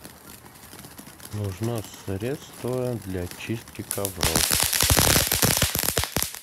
нужно средство для чистки ковров